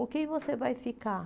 Com quem você vai ficar?